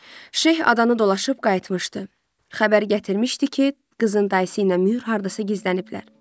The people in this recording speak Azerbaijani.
Şeyx adanı dolaşıb qayıtmışdı, xəbər gətirmişdi ki, qızın dayısı ilə mühür hardasa gizləniblər.